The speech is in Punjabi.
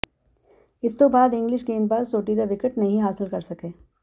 ਇਸ ਤੋਂ ਬਾਅਦ ਇੰਗਲਿਸ਼ ਗੇਂਦਬਾਜ਼ ਸੋਢੀ ਦਾ ਵਿਕਟ ਨਹੀਂ ਹਾਸਿਲ ਕਰ ਸਕੇ